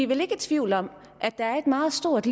vel ikke i tvivl om at der er et meget stort